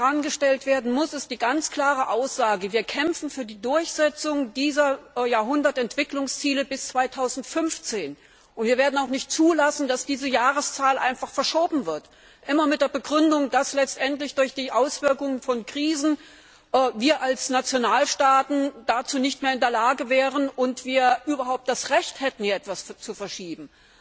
Was vornan gestellt werden muss, ist die ganz klare Aussage Wir kämpfen für die Durchsetzung dieser Millenniums Entwicklungsziele bis 2015, und wir werden auch nicht zulassen, dass diese Jahreszahl einfach verschoben wird, immer mit der Begründung, dass letztendlich durch die Auswirkungen von Krisen wir als Nationalstaaten dazu nicht mehr in der Lage wären und wir überhaupt das Recht hätten, hier etwas zu verschieben.